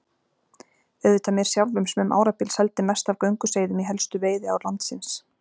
Auðvitað mér sjálfum sem um árabil seldi mest af gönguseiðum í helstu veiðiár landsins.